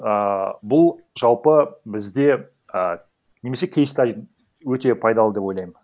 ааа бұл жалпы бізде а немесе кейста өте пайдалы деп ойлаймын